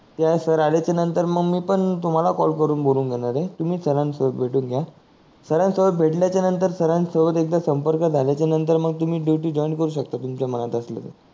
sir आल्याच्या नंतर मंग मी पण तुम्हाला कॉल करून बोलाऊन घेणार आहे तुम्ही सर सोबत भेटून घ्या सर सोबत भेटल्याच्या नंतर सर सोबत एकदा समार्क झाल्या च्या नंतर मग तुम्ही ड्यूटि जॉइन करू शकता मनात असल की